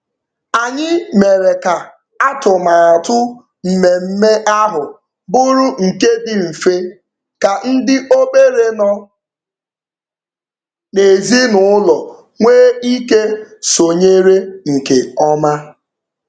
Anyị mere ka atụmatụ mmemme ahụ bụrụ nke dị mfe ka ndị obere nọ n'ezinụụlọ nwee ike sonyere nke ọma.